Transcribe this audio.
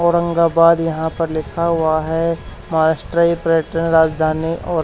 औरंगाबाद यहां पर लिखा हुआ है महाराष्ट्र प्रयटन राजधानी और--